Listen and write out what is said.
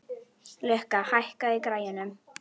Lukka, hækkaðu í græjunum.